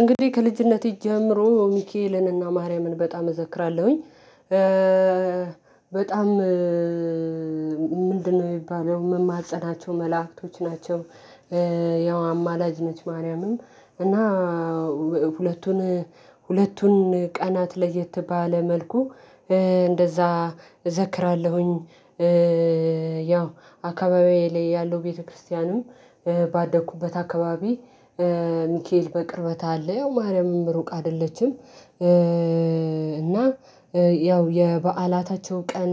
እንግዲህ ከልጅነቴ ጀምሮ ሚካኤልንና ማርያምን በጣም እዘክራለሁኝ። በጣም ምንድነው የሚባለው ምማፀናቸው መላእክቶች ናቸው። ያው አማላጅ ነች ማርያምም እና ሁለቱን ሁለቱን ቀናት ለየት ባለ መልኩ እንደዛ እዘክራለሁኝ። ያው አካባቢዬ ላይ ያለው ቤተክርስቲያንም ባደኩበት አካባቢ ሚካኤል በቅርበት አለ። ያው ማርያምም ሩቅ አይደለችም፤ እና ያው የበዓላታቸው ቀን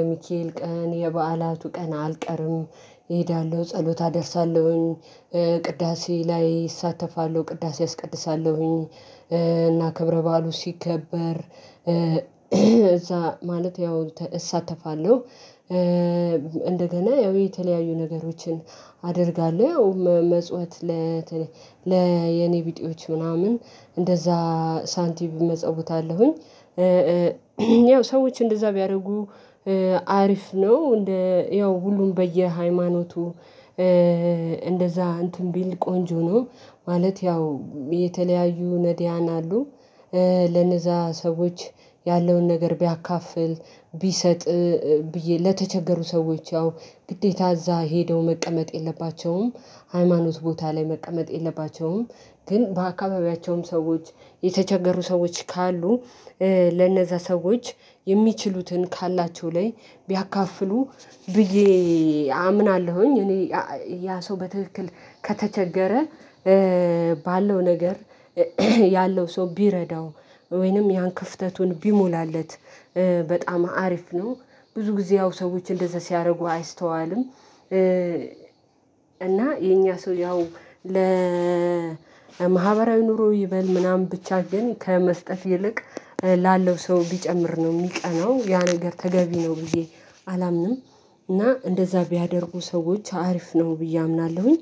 የሚካኤል ቀን የበዓላቱ ቀን አልቀርም። እሄዳለሁ ጸሎት አደርሳለሁኝ። ቅዳሴ ላይ እሳተፋለሁ ቅዳሴ አስቀድሳለሁኝ፤ እና ክብረ በዓሉ ሲከበር እዛ ማለት ያው እሳተፋለሁ። እንደገና ያው የተለያዩ ነገሮችን አደርጋለሁ። ያው መመጽወት ለተ ለየኔ ቢጤዎች ምናምን እንደዛ ሳንቲም እመጸውታለሁኝ። ያው ሰዎች እንደዛ ቢያደርጉ አሪፍ ነው። እንደ ያው ሁሉም በየሃይማኖቱ እንደዛ እንትን ቢል ቆንጆ ነው፤ ማለት ያው የተለያዩ ነድያን አሉ። ለነዛ ሰዎች ያለውን ነገር ቢያካፍል፣ ቢሰጥ ብዬ ለተቸገሩ ሰዎች ያው ግዴታ እዛ ሄደው መቀመጥ የለባቸውም። ሃይማኖት ቦታ ላይ መቀመጥ የለባቸውም። ግን በአካባቢያቸውም ሰዎች የተቸገሩ ሰዎች ካሉ ለነዛ ሰዎች የሚችሉትን ካላቸው ላይ ቢያካፍሉ ብዬ አምናለሁኝ። እኔ ያ ሰው በትክክል ከተቸገረ ባለው ነገር ያለው ሰው ቢረዳው ወይንም ያን ክፍተቱን ቢሞላለት በጣም አሪፍ ነው። ብዙ ጊዜ ያው ሰዎች እንደዛ ሲያደርጉ አይስተዋልም። እና የኛ ሰው ያው ለማህበራዊ ኑሮ ይበል ምናምን ብቻ ግን ከመስጠት ይልቅ ላለው ሰው ቢጨምር ነው የሚቀናው። ያ ነገር ተገቢ ነው ብዬ አላምንም። እና እንደዛ ቢያደርጉ ሰዎች አሪፍ ነው ብዬ አምናለሁኝ።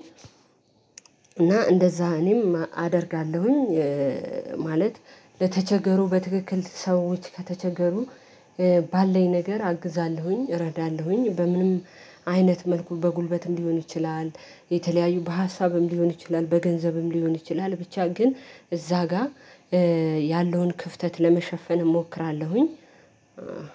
እና እንደዛ እኔም አደርጋለሁኝ። ማለት ለተቸገሩ በትክክል ሰዎች ከተቸገሩ ባለኝ ነገር አግዛለሁኝ እረዳለሁኝ። በምንም አይነት መልኩ በጉልበትም ሊሆን ይችላል፤ የተለያዩ በሀሳብም ሊሆን ይችላል፤ በገንዘብም ሊሆን ይችላል፤ ብቻ ግን እዛ ጋር ያለውን ክፍተት ለመሸፈን እሞክራለሁኝ።